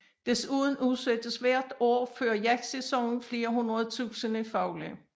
Desuden udsættes hvert år før jagtsæsonen flere hundrede tusinde fugle